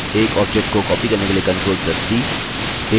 एक object को copy करने के लिए ctrl + c